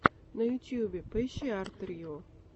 на ютюбе поищи арт рио